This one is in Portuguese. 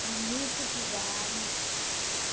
Para muitos lugares.